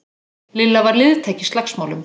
Lilla var liðtæk í slagsmálum.